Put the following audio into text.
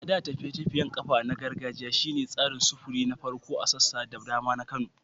A da, tafiye-tafiyen kafa na gargajiya shi ne tsarin sufuri na farko a sassa da dama na Kano.